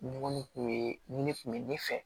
Ɲɔgɔn kun ye ni ne kun bɛ ne fɛ